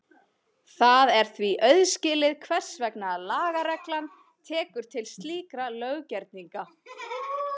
Það er því auðskilið hvers vegna lagareglan tekur til slíkra löggerninga.